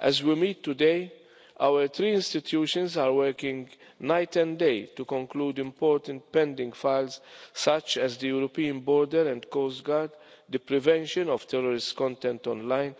As we meet today, our three institutions are working night and day to conclude important pending files, such as the European Border and Coast Guard, the prevention of terrorist content online,